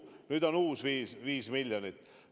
Nüüd on uus 5 miljonit.